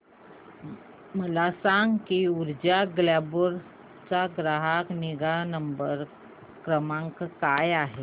मला सांग की ऊर्जा ग्लोबल चा ग्राहक निगा क्रमांक काय आहे